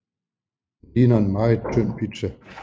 Den ligner en meget tynd pizza